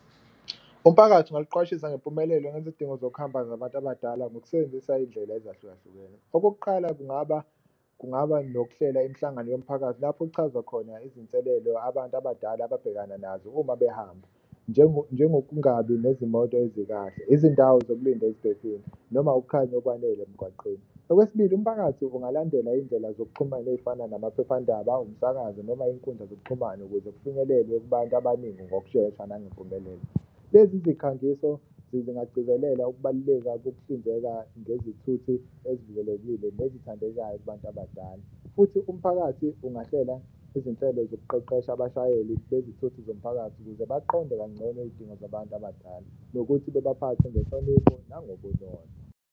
Umphakathi ungaluqwashisa ngempumelelo ngezidingo zokuhamba zabantu abadala ngokusebenzisa iy'ndlela ezahlukahlukene. Okokuqala, kungaba kungaba nokuhlela imhlangano yomphakathi lapho okuchazwa khona izinselelo abantu abadala ababhekana nazo uma behamba njengokungabi nezimoto ezikahle, izindawo zokulinda eziphephile noma ukukhanya okwanele emgwaqeni. Okwesibili, umphakathi ungalandela iy'ndlela zokuxhumana ey'fana namaphephandaba, umsakazo noma iy'nkundla zokuxhumana ukuze kufinyelelwe abantu abaningi ngokushesha nangempumelelo. Lezi zikhangiso zingagcizelela ukubaluleka kokuhlinzeka ngezithuthi ezivikelekile nezithandekayo kubantu abadala. Futhi umphakathi ungahlela izinhlelo zokuqeqesha abashayeli bezithuthi zomphakathi ukuze baqonde kancono izidingo zabantu abadala nokuthi bebaphathe ngenhlonipho nangobunono.